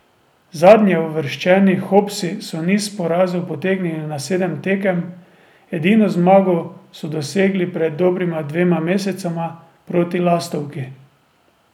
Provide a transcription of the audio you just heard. Zadnjeuvrščeni Hopsi so niz porazov potegnili na sedem tekem, edino zmago so dosegli pred dobrima dvema mesecema proti Lastovki.